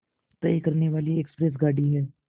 तय करने वाली एक्सप्रेस गाड़ी है